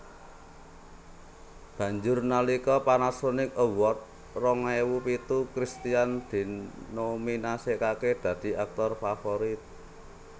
Banjur nalika Panasonic Award rong ewu pitu Christian dinominasèkaké dadi aktor favorit